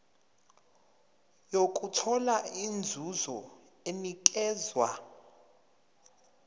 nokuthola inzuzo enikezwa